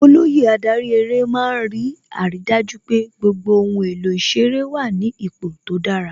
Olóyè adarí eré má ń rí àrídájú pé gbogbo ohun èlò ìṣeré wà ní ipò tó dára